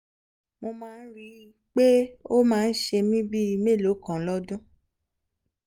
mo máa ń rí i pé ó máa ń ṣe mí bíi mélòó kan lọ́dún